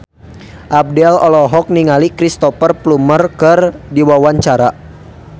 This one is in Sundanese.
Abdel olohok ningali Cristhoper Plumer keur diwawancara